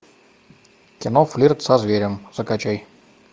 кино флирт со зверем закачай